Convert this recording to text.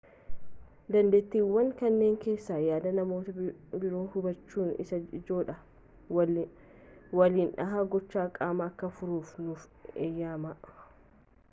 dandeettiiwwan kanneen keessaa yaada namoota biroo hubachuun isa ijoodha waliin dhaha gochaa qaamaa akka furuuf nuuf eeyyama